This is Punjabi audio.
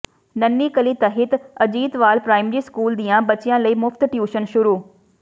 ਨੰਨ੍ਹੀ ਕਲੀ ਤਹਿਤ ਅਜੀਤਵਾਲ ਪ੍ਰਾਇਮਰੀ ਸਕੂਲ ਦੀਆਂ ਬੱਚੀਆਂ ਲਈ ਮੁਫ਼ਤ ਟਿਊਸ਼ਨ ਸ਼ੁਰੂ